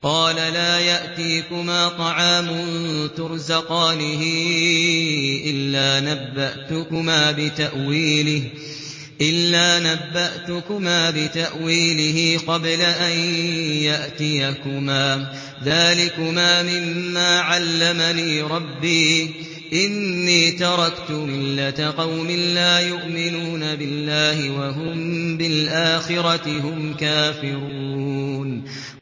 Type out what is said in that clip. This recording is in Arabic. قَالَ لَا يَأْتِيكُمَا طَعَامٌ تُرْزَقَانِهِ إِلَّا نَبَّأْتُكُمَا بِتَأْوِيلِهِ قَبْلَ أَن يَأْتِيَكُمَا ۚ ذَٰلِكُمَا مِمَّا عَلَّمَنِي رَبِّي ۚ إِنِّي تَرَكْتُ مِلَّةَ قَوْمٍ لَّا يُؤْمِنُونَ بِاللَّهِ وَهُم بِالْآخِرَةِ هُمْ كَافِرُونَ